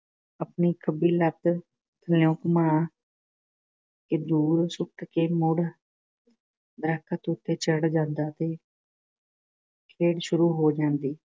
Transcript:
ਆਪਣੀ ਖੱਬੀ ਲੱਤ ਥੱਲਿਓਂ ਘੁਮਾ ਕੇ ਦੂਰ ਸੁੱਟ ਕੇ ਮੁੜ ਦਰਖ਼ਤ ਉੱਤੇ ਚੜ੍ਹ ਜਾਂਦਾ ਤੇ ਖੇਡ ਸ਼ੁਰੂ ਹੋ ਜਾਂਦੀ।